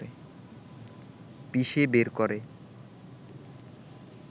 পিষে বের করে